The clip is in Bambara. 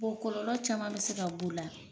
kɔlɔlɔ caman bɛ se ka b'u la